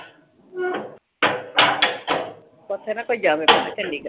ਉਥੇ ਨਾ ਕੋਈ ਜਾਵੇ ਚੰਡੀਗੜ੍ਹ